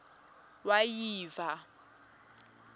wayiva